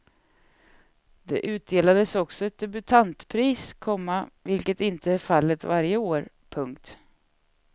Det utdelades också ett debutantpris, komma vilket inte är fallet varje år. punkt